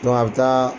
a bɛ taa